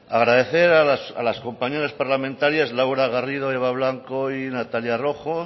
agradecer a las compañeras parlamentarias laura garrido eva blanco y natalia rojo